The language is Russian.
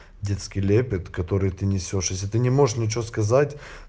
детский лепет который ты несёшь если ты не можешь ничего сказать